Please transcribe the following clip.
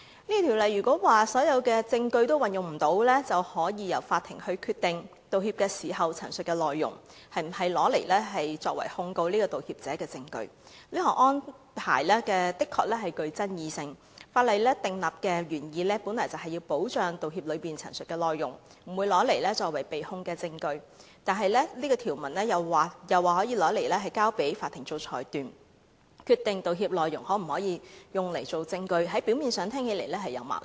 這條文的內容指，如果所有證據皆無法運用，可由法庭決定，可否把道歉所包含的事實陳述用作控告道歉者的證據，這項安排確實具爭議性，法例訂立的原意是要保障道歉時陳述的內容不會用作檢控的證據，但這條文又訂明可交由法庭裁斷，決定道歉內容可否用作證據，表面看似有矛盾。